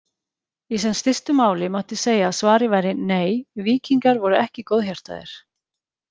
Í sem stystu máli mætti segja að svarið væri nei, víkingar voru ekki góðhjartaðir.